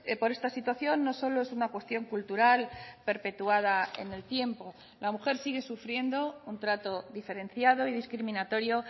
por esta situación no solo es una cuestión cultural perpetuada en el tiempo la mujer sigue sufriendo un trato diferenciado y discriminatorio